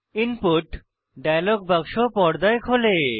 input dialogue বাক্স পর্দায় খোলে